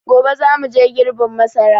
Gobe za muje girbin masara